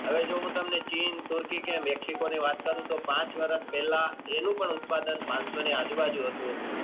હવે જો હું તમને ચીન તુર્કી કે મેક્સિક ની વાત કરું તો પાંચ વર્ષ પહેલા એનું પણ ઉત્પાદન પાનસો ની આજુબાજુ હતું